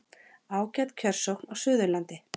Ágæt kjörsókn á Suðurlandi